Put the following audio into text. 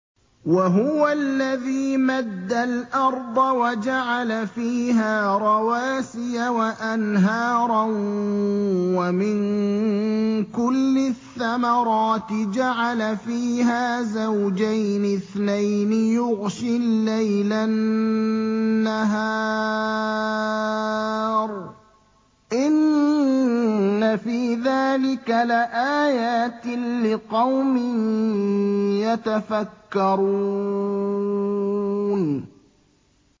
وَهُوَ الَّذِي مَدَّ الْأَرْضَ وَجَعَلَ فِيهَا رَوَاسِيَ وَأَنْهَارًا ۖ وَمِن كُلِّ الثَّمَرَاتِ جَعَلَ فِيهَا زَوْجَيْنِ اثْنَيْنِ ۖ يُغْشِي اللَّيْلَ النَّهَارَ ۚ إِنَّ فِي ذَٰلِكَ لَآيَاتٍ لِّقَوْمٍ يَتَفَكَّرُونَ